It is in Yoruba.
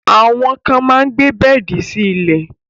Àwọn kan máa gbé bẹ́ẹ̀di sí ilẹ̀